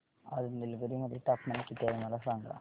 आज निलगिरी मध्ये तापमान किती आहे मला सांगा